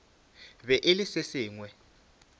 be e le se sengwe